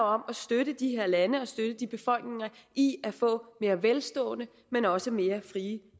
om at støtte de her lande og støtte de befolkninger i at få mere velstående men også mere frie